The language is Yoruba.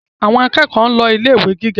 Àwọn akẹ́kọ̀ọ́ ń lọ ilé ìwé gíga